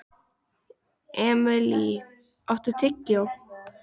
Emilý, áttu tyggjó?